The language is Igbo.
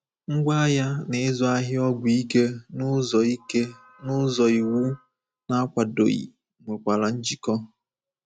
Ngwá agha na ịzụ ahịa ọgwụ ike n’ụzọ ike n’ụzọ iwu na-akwadoghị nwekwara njikọ.